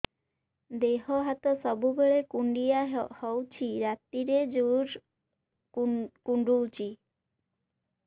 ଦେହ ହାତ ସବୁବେଳେ କୁଣ୍ଡିଆ ହଉଚି ରାତିରେ ଜୁର୍ କୁଣ୍ଡଉଚି